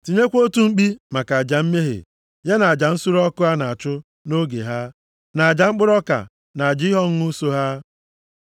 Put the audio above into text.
Tinyekwa otu mkpi maka aja mmehie, ya na aja nsure ọkụ a na-achụ nʼoge ha, na aja mkpụrụ ọka, na aja ihe ọṅụṅụ so ha.